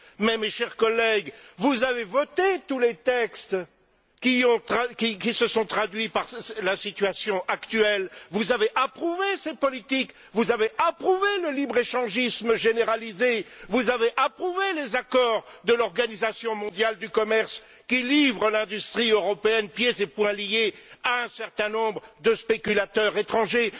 Cependant, mes chers collègues, vous avez voté tous les textes qui se sont traduits par la situation actuelle, vous avez approuvé ces politiques, vous avez approuvé le libre échangisme généralisé, vous avez approuvé les accords de l'Organisation mondiale du commerce qui livre l'industrie européenne pieds et poings liés à un certain nombre de spéculateurs étrangers.